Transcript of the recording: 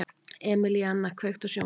Emelíana, kveiktu á sjónvarpinu.